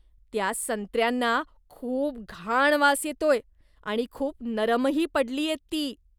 त्या संत्र्यांना खूप घाण वास येतोय आणि खूप नरमही पडलीयेत ती.